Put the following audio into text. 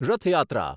રથ યાત્રા